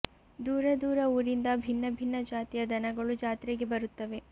ದೂರ ದೂರ ಊರಿಂದ ಭಿನ್ನ ಭಿನ್ನ ಜಾತಿಯ ದನಗಳು ಜಾತ್ರೆಗೆ ಬರುತ್ತವೆ